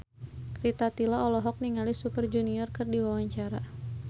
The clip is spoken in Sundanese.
Rita Tila olohok ningali Super Junior keur diwawancara